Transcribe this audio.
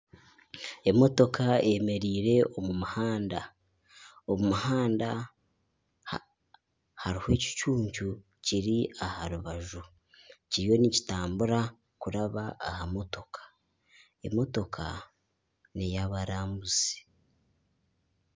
Emotoka eyemereire omu muhanda omu muhanda hariho ekicuncu kiri aha rubaju nizitambura kuraba aha motoka, emotoka ney'abarambuzi